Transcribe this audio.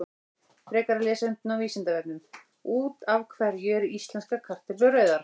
Frekara lesefni á Vísindavefnum: Út af hverju eru íslenskar kartöflur rauðar?